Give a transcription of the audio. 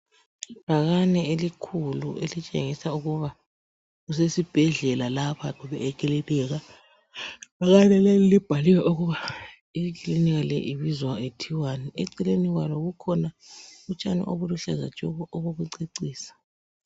Ibhakane elukhulu elitshengisa ukuba kusesibhedlela lapha kumbe ekilinika. Ibhakane leli libhaliwe ukuba iklinika ibizwa ithiwani. Eceleni kwalo kukhona utshani ubuluhlaza tshoko obokucecisa.